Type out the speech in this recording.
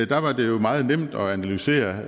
der var det jo meget nemt at analysere